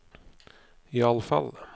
iallfall